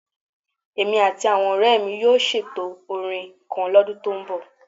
Èmi àti àwọn ọ̀rẹ́ mi yóò ṣètò orin kan lọ́dún tó ń bọ̀